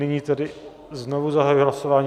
Nyní tedy znovu zahajuji hlasování.